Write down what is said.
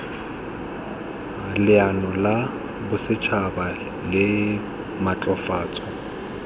leano la bosetšhaba la maatlafatso